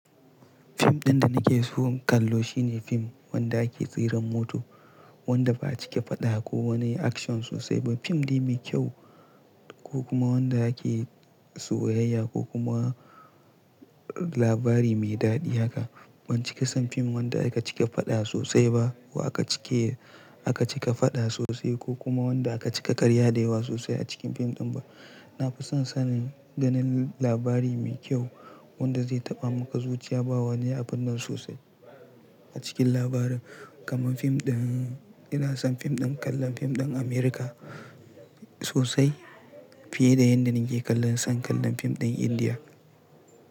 Fim ɗin da nake so in kallo shine fim wanda ake tseran mota, wanda ba a cika faɗa ko wani action sosai ba. Fim dai mai kyau ko kuma wanda ake soyayya ko kuma labari mai daɗi haka. Ban cika son fim wanda aka cika faɗa sosai ba ko aka cika, aka cika faɗa sosai ko kuma wanda aka cika ƙarya da yawa sosai a cikin fim ɗin ba. Na fi son sanin ganin labari mai kyau wanda zai taɓa maka zuciya ba wani abun nan sosai a cikin labarin. Kaman fim ɗin, ina son fim ɗin kallon fim ɗin Amurka sosai fiye da yadda nake kallon, son kallon fim ɗin Indiya.